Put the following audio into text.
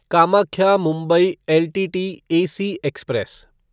Kamakhya Mumbai LTT AC express